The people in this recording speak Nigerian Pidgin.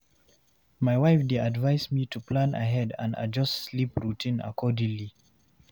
My wife dey advise me to plan ahead and adjust sleep routine accordingly.